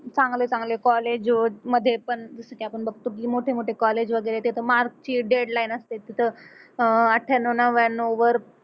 चांगले, चांगले कॉलेज मध्ये पण जस की आपण बघतो मोठेमोठे कॉलेज वगैरे तेथ मार्क ची डेडलाईन असते तिथं अह अठ्ठ्याण्णव, नव्व्याण्णव वर